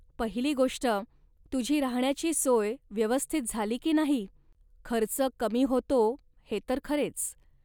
पहिली गोष्ट, तुझी राहण्याची सोय व्यवस्थित झाली की नाही. खर्च कमी होतो हे तर खरेच